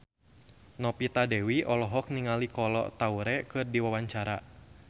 Novita Dewi olohok ningali Kolo Taure keur diwawancara